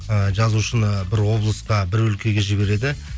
і жазушыны бір облысқа бір өлкеге жібереді